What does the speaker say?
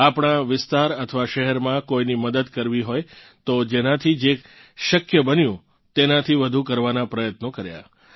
આપણાં વિસ્તાર અથવા શહેરમાં કોઇની મદદ કરવી હોય તો જેનાથી જે શક્ય બન્યું તેનાથી વધુ કરવાનાં પ્રયત્નો કર્યાં